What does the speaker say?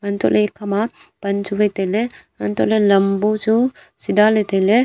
antoh le ekhama pan chu wai taile antoh le lambu chu sida le taile.